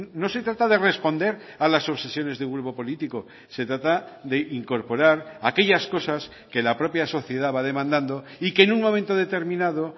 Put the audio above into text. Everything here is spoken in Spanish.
no se trata de responder a las obsesiones de un grupo político se trata de incorporar aquellas cosas que la propia sociedad va demandando y que en un momento determinado